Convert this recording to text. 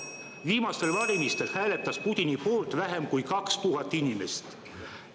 Viimastel valimistel hääletas Putini poolt vähem kui 2000 inimest.